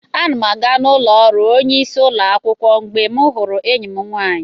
Ana m aga ụlọ ọrụ onyeisi ụlọ akwụkwọ mgbe m hụrụ enyi m nwaanyị.